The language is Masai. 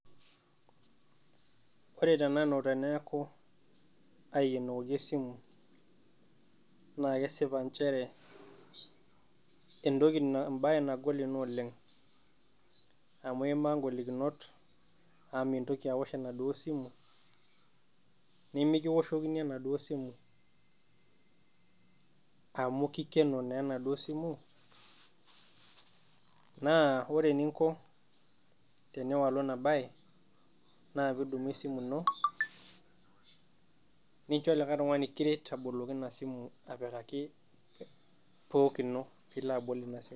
Ore tenanu teneeku aikenokoki esimu naa kesipa nchere entoki ebai nagol Ina oleng' amu imaa igolikinot amu mintoki aosh ena duo simu nimikiwoshokini ena duo simu amu kikeno naa enaduo simu naa ore ening'o tiniwolu ena baye naa pee idumu esimu ino nincho olikae tung'ani kiret apikaki PUK ino peilo abol Ina simu.